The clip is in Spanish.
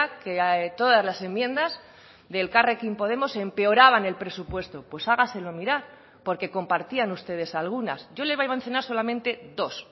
que todas las enmiendas de elkarrekin podemos empeoraban el presupuesto pues hágaselo mirar porque compartían ustedes algunas yo le voy a mencionar solamente dos